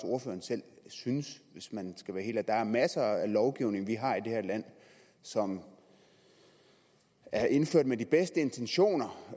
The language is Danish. ordføreren selv synes hvis man skal være helt ærlig der er masser af lovgivning vi har i det her land som er indført med de bedste intentioner